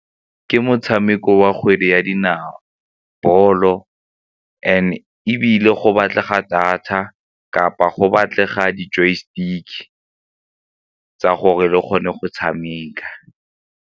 Ke motshameko wa kgwedi ya dinao bolo and-e ebile go batlega data kapa go batlega di-joy stick-e ka gore re kgone go tshameka.